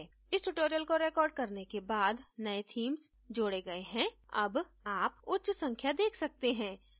इस tutorial को recorded करने के बाद नयें theme जोडे गए हैं अब आप उच्च संख्या देख सकते हैं